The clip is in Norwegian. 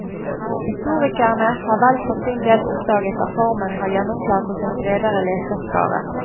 Historikerne har vel for sin del oppdaget at formen har gjennomslag hos en bredere leserskare.